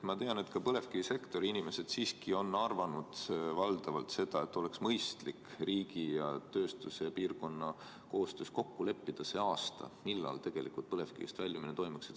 Ma tean, et ka põlevkivisektori inimesed siiski arvavad valdavalt seda, et oleks mõistlik riigi ja tööstuse ja piirkonna koostöös kokku leppida see aasta, millal tegelikult põlevkivist loobutakse.